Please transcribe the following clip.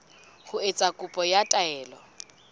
ho etsa kopo ya taelo